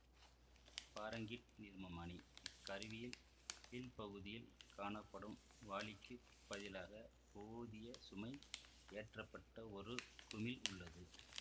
Fahrenheit நீர்மமானி இக்கருவியில் கீழ்பகுதியில் காணப்படும் வாளிக்குப் பதிலாக போதிய சுமை ஏற்றப்பட்ட ஒரு குமிழ் உள்ளது